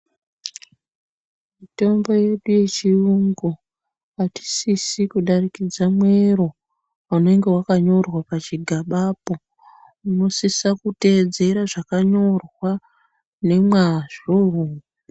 Mitombo yedu yechiyungu hatisisi kudarikida mwero unenge wakanyorwa pachigaba cho tinosisa kutevedzera nomazvo.